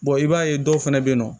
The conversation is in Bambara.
i b'a ye dɔw fɛnɛ bɛ yen nɔ